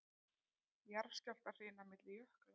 Jarðskjálftahrina milli jökla